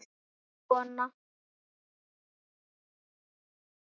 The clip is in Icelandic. Hvað svo?